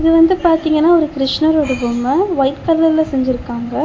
வந்து பாத்தீங்னா ஒரு கிருஷ்ணரோட பொம்ம ஒயிட் கலர்ல செஞ்சிருக்காங்க.